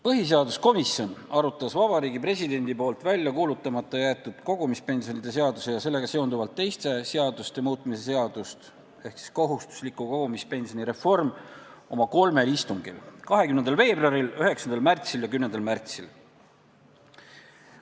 Põhiseaduskomisjon arutas Vabariigi Presidendi välja kuulutamata jäetud kogumispensionide seaduse ja sellega seonduvalt teiste seaduste muutmise seadust ehk kohustusliku kogumispensioni reformi oma kolmel istungil: 20. veebruaril, 9. märtsil ja 10. märtsil.